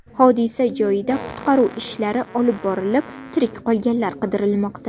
Hodisa joyida qutqaruv ishlari olib borilib, tirik qolganlar qidirilmoqda.